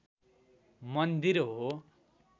मन्दिर हो